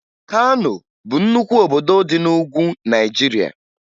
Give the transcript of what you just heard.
Kano bụ nnukwu obodo dị na Ugwu Naịjirịa